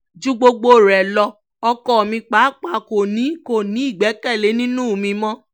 ju gbogbo rẹ̀ lọ ọkọ mi pàápàá kò ní kò ní ìgbẹ́kẹ̀lé nínú mi mọ́